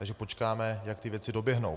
Takže počkáme, jak ty věci doběhnou.